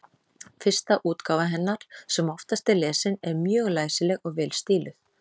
Fyrsta útgáfa hennar, sem oftast er lesin, er mjög læsileg og vel stíluð.